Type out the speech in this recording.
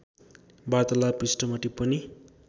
वार्तालाप पृष्ठमा टिप्पणी